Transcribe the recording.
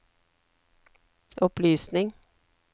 opplysning